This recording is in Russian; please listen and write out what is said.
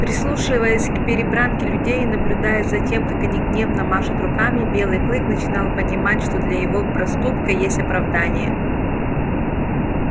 прислушиваясь к перебранке людей и наблюдая за тем как они гневно машут руками белый клык начинал понимать что для его проступка есть оправдание